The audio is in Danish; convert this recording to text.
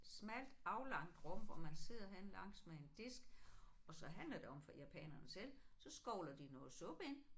Smalt aflangt rum hvor man sidder henne langs med en disk og så handler det om for japanerne selv så skovler de noget suppe ind